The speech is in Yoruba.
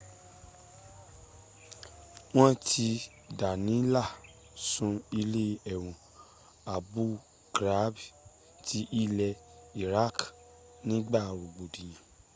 wọ́n ti dánilá sun ilé ẹ̀wọ̀n abu ghraib ti ilẹ̀ iraq nígba rọ̀gbọ̀dìyàn